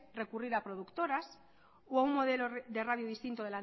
recurrir a productoras o a un modelo de radio distinto